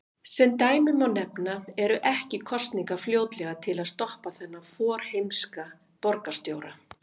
Sem dæmi má nefna: Eru ekki kosningar fljótlega til að stoppa þennan forheimska borgarstjóra?